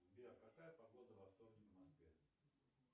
сбер какая погода во вторник в москве